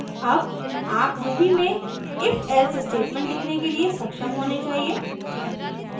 अब आप ruby में ifelse स्टेटमेंट लिखने के लिए सक्षम होने चाहिए